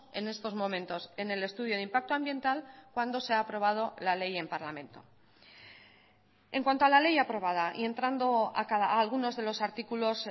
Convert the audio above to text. en estos momentos en el estudio de impacto ambiental cuando se ha aprobado la ley en parlamento en cuanto a la ley aprobada y entrando a algunos de los artículos